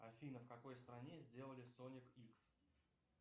афина в какой стране сделали соник икс